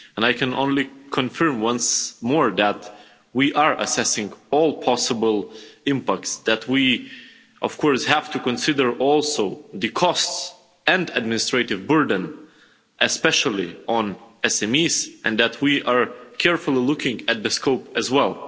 I can only confirm once more that we are assessing all possible impacts and that we, of course, have to consider also the costs and administrative burden, especially on SMEs, and that we are carefully looking at the scope as well.